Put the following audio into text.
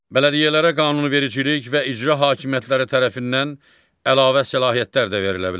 Bələdiyyələrə qanunvericilik və icra hakimiyyətləri tərəfindən əlavə səlahiyyətlər də verilə bilər.